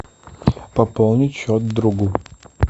пополнить счет другу